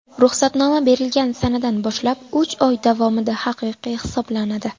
Ruxsatnoma berilgan sanadan boshlab uch oy davomida haqiqiy hisoblanadi.